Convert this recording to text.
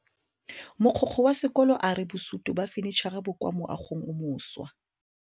Mogokgo wa sekolo a re bosutô ba fanitšhara bo kwa moagong o mošwa.